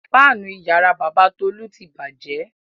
Fáánù ìyàrá bàbá Tolú ti bàjẹ́.